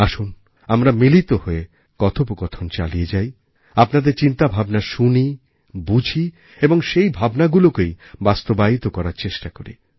আসুন আমরা মিলিতহয়ে কথোপকথন চালিয়ে যাই আপনাদের চিন্তাভাবনা শুনি বুঝি এবং সেই ভাবনাগুলোকেই বাস্তবায়িত করার চেষ্টাকরি